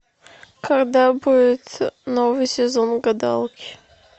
когда будет новый сезон гадалки